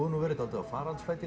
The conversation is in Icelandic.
nú verið dálítið á faraldsfæti